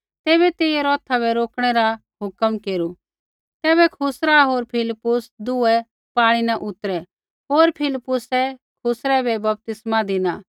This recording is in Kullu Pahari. तैबै तेइयै रौथा बै रोकणै रा हुक्म केरू तैबै खुसरा होर फिलिप्पुस दुऐ पाणी न उतरै होर फिलिप्पुसै खुसरै बै बपतिस्मा धिना